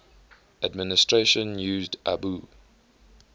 administration used abu